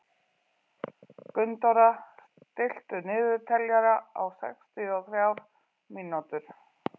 Gunndóra, stilltu niðurteljara á sextíu og þrjár mínútur.